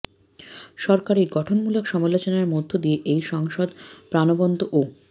সরকারের গঠনমূলক সমালোচনার মধ্য দিয়ে এই সংসদ প্রাণবন্ত ও